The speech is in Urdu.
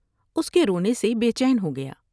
اس کے رونے سے بے چین ہوگیا